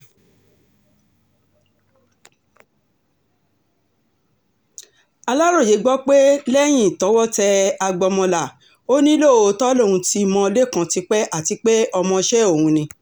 aláròye gbọ́ pé lẹ́yìn tọ́wọ́ tẹ agbọ́mọlá ò ní lóòótọ́ lòun ti mọ lẹ́kàn tipẹ́ àti pé ọmọọṣẹ́ òun ni